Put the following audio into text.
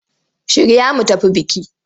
Shirya mu tafi biki!